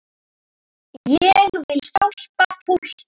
Ég vil hjálpa fólki.